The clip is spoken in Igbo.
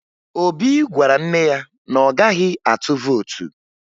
Obi gwara nne ya na ọ gaghị atụ vootu